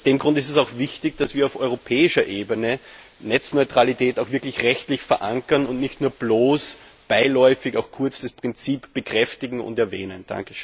Aus diesem Grund ist es auch wichtig, dass wir auf europäischer Ebene Netzneutralität auch wirklich rechtlich verankern und nicht nur bloß beiläufig kurz das Prinzip bekräftigen und erwähnen.